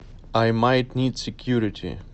ай майт нид секьюрити